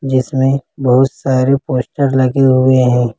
इसमें बहुत सारे पोस्टर लगे हुए हैं।